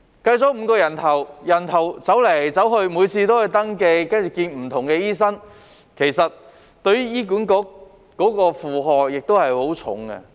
計作5人次，但病人走來走去，每次都須登記，看不同的醫生，其實這也會為醫管局帶來很重的負荷。